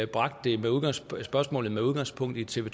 bragte spørgsmålet op med udgangspunkt i tv